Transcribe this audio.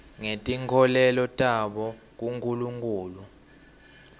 ngetinkholelo tabo kunkulunkhulu